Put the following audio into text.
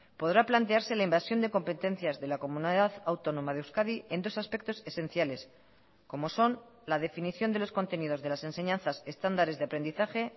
podrá plantearse la invasión de competencias de la comunidad autónoma de euskadi en dos aspectos esenciales como son la definición de los contenidos de las enseñanzas estándares de aprendizaje